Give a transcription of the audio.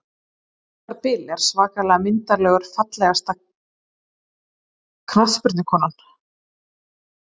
Arnar Bill er svakalega myndarlegur Fallegasta knattspyrnukonan?